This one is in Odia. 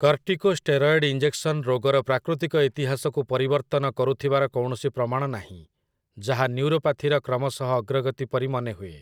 କର୍ଟିକୋଷ୍ଟେରଏଡ୍ ଇଞ୍ଜେକ୍ସନ୍ ରୋଗର ପ୍ରାକୃତିକ ଇତିହାସକୁ ପରିବର୍ତ୍ତନ କରୁଥିବାର କୌଣସି ପ୍ରମାଣ ନାହିଁ, ଯାହା ନ୍ୟୁରୋପାଥିର କ୍ରମଶଃ ଅଗ୍ରଗତି ପରି ମନେହୁଏ ।